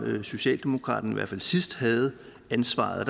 socialdemokraterne i hvert fald sidst havde ansvaret